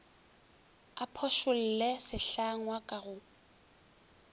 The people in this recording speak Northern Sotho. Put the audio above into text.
a phošolle sehlangwa ka go